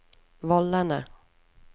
vollene